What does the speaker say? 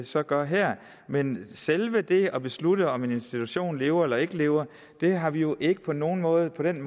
så gør her men selve det at beslutte om en institution lever eller ikke lever har vi jo ikke på nogen måde nogen